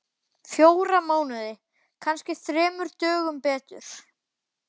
Fjóra mánuði. kannski þremur dögum betur.